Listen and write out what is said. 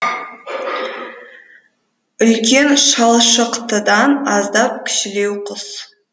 үлкен шалшықтыдан аздап кішілеу құс